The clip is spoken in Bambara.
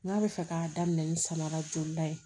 N k'a bɛ fɛ k'a daminɛ ni samara jɔra ye